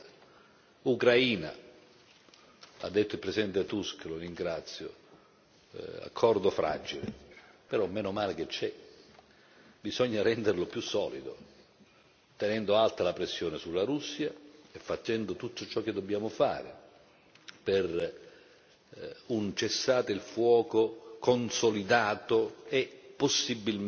Ha detto il Presidente Tusk e lo ringrazio, accordo fragile, però, menomale che c'è, bisogna renderlo più solido, tenendo alta la pressione sulla Russia e facendo tutto ciò che dobbiamo fare per un cessate il fuoco consolidato e possibilmente trasformato in una pace.